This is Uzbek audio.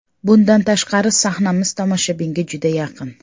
Bundan tashqari, sahnamiz tomoshabinga juda yaqin.